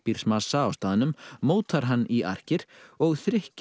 pappísmassa á staðnum mótar hann í arkir og